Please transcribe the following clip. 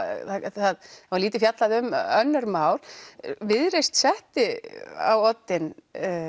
það var lítið fjallað um önnur mál viðreisn setti á oddinn